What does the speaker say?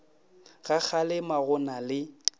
ga kgalema go na le